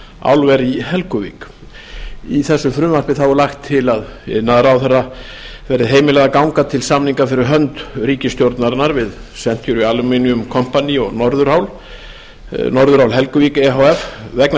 álver í helguvík í frumvarpinu er lagt til að iðnaðarráðherra verði heimilað að ganga til samninga fyrir hönd ríkisstjórnarinnar við century aluminum company og norðurál helguvík e h f vegna